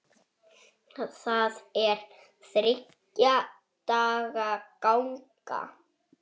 Það er þriggja daga ganga.